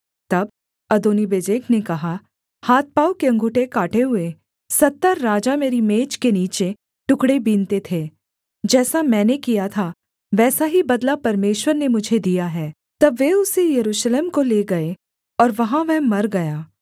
तब अदोनीबेजेक ने कहा हाथ पाँव के अँगूठे काटे हुए सत्तर राजा मेरी मेज के नीचे टुकड़े बीनते थे जैसा मैंने किया था वैसा ही बदला परमेश्वर ने मुझे दिया है तब वे उसे यरूशलेम को ले गए और वहाँ वह मर गया